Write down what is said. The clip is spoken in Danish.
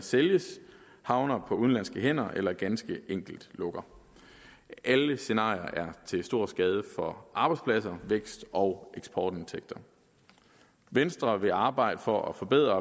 sælges havner på udenlandske hænder eller ganske enkelt lukker alle scenarier er til stor skade for arbejdspladser vækst og eksportindtægter venstre vil arbejde for at forbedre